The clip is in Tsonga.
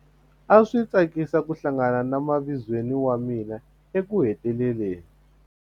A swi tsakisa ku hlangana na mavizweni wa mina ekuheteleleni.